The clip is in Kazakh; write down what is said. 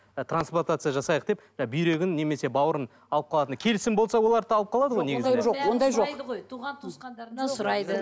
і трансплантация жасайық деп бүйрегін немесе бауырын алып қалатын келісім болса оларды да алып қалады ғой негізінде ондай жоқ туған туысқандарынан сұрайды